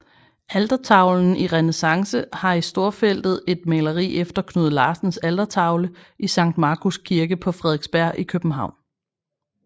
Altertavlen i renæssance har i storfeltet et maleri efter Knud Larsens altertavle i Sankt Markus Kirke på Frederiksberg i København